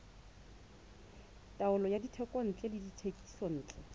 taolo ya dithekontle le dithekisontle